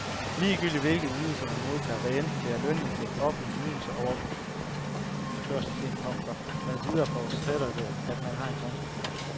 Ligegyldigt hvilke ydelser man modtager, hvad enten det er lønindtægt, offentlige ydelser og overførselsindkomster med videre forudsætter det, at man har en konto.